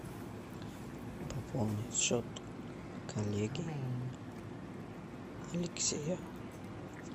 пополнить счет коллеги алексея